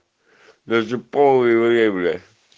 даже полы гребля